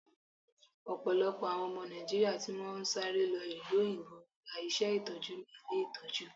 Ọ̀pọ̀lọpọ̀ àwọn ọmọ Nàìjíríà tí wọn ń sáré lọ ìlú òyìnbó ń gba iṣé Ìtọ́jú ní ilé Ìtọ́jú.